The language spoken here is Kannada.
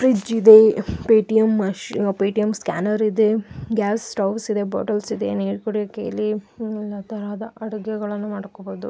ಫ್ರಿಡ್ಜ್ ಇದೆ ಪೇ ಟಿ.ಎಮ್ ಮೆಶ್ ಆ ಪೇ ಟಿಎಮ್ ಸ್ಕ್ಯಾನರ್ ಇದೆ. ಗ್ಯಾಸ್ ಸ್ಟೌವ್ಸ್ ಇದೆ ಬಾಟಲ್ಸ್ ಇದೆ ನೀರ್ ಕುಡಿಯಕ್ಕಿಲ್ಲಿ ಎಲ್ಲ ತರಹದ ಅಡುಗೆಗಳನ್ನು ಮಾಡ್ಕೋಬಹುದು .